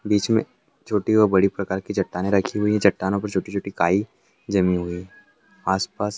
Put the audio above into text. बिच में छोटी व् बड़ी प्रकार की चट्टाने रखी हुई हे चट्टानो पर छोटी छोटी काई जमी हुई आस पास --